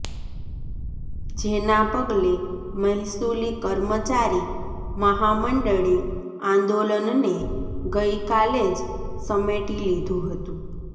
જેના પગલે મહેસુલી કર્મચારી મહામંડળે આંદોલનને ગઈકાલે જ સમેટી લીધું હતું